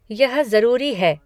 यह जऱूरी है।